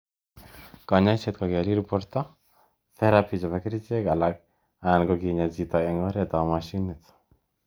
Kanyoiset ko kelil porto, therapy chepo kerchek alak anan kinyaa chito ing oret ap machinit.